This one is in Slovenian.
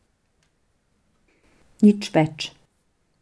Nič več.